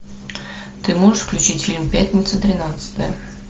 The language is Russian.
ты можешь включить фильм пятница тринадцатое